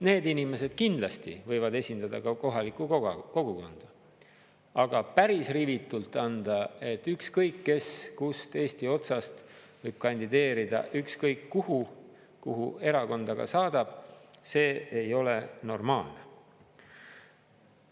Need inimesed kindlasti võivad esindada ka kohalikku kogukonda, aga päris rivitult anda, et ükskõik kes kust Eesti otsast võib kandideerida ükskõik kuhu, kuhu erakond aga saadab, see ei ole normaalne.